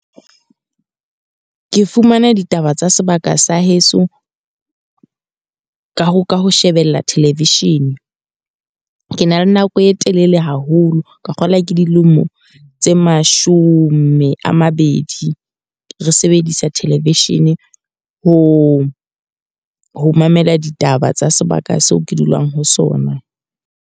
Ke fumana ditaba tsa sebaka sa heso, ka ho ka ho shebella television. Ke na le nako e telele haholo ka kgola, ke di lemo tse mashome a mabedi. Re sebedisa television ho ho mamela ditaba tsa sebaka seo ke dulang ho sona.